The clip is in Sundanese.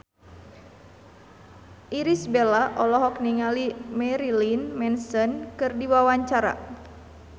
Irish Bella olohok ningali Marilyn Manson keur diwawancara